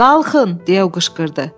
Qalxın! deyə o qışqırdı.